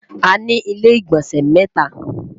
àní ilé igbọnsẹ mẹta